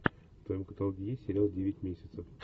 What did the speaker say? в твоем каталоге есть сериал девять месяцев